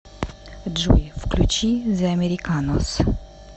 джой включи зе американос